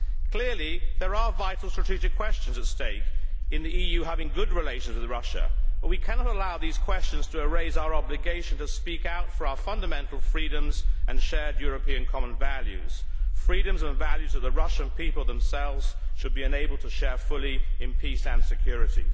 Clearly there are vital strategic questions at stake in the EU having good relations with Russia, but we cannot allow these questions to erase our obligation to speak out for our fundamental freedoms and shared European common values, freedoms and values the Russian people themselves should be enabled to share fully in peace and security.